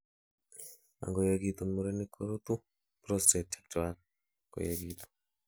angoyegitun murenik, korutu prostate chechwak koyegitun